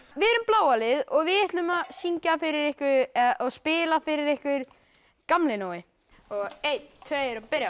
við erum bláa liðið og við ætlum að syngja og spila fyrir ykkur Gamli Nói og einn tveir og byrja